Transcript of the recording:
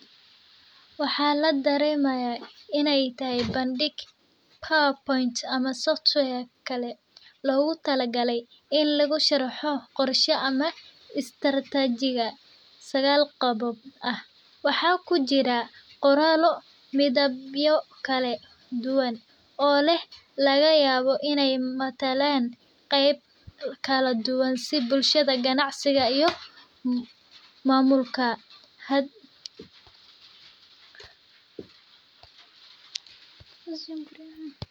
Waxaa ladareemaya inaay tahay bandig ama istarataji sagaal qodab ah waxaa kujiraa qoraala iyo midiba kala duban keh si bulshada iyo maamulka.